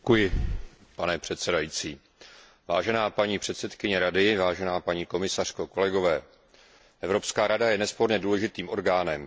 Vážená paní předsedkyně Rady, vážená paní komisařko, kolegové, Evropská rada je nesporně důležitým orgánem, proto by měla řešit zásadní otázky.